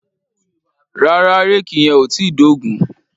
Rárá, réèkì yẹn ò tíì dógùn-ún.